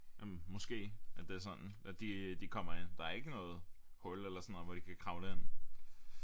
Måske at det er sådan at de de kommer ind der er ikke noget hul eller sådan noget hvor de kan kravle ind